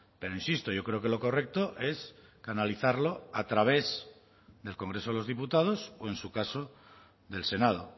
pero insisto yo creo que lo correcto es canalizarlo a través del congreso de los diputados o en su caso del senado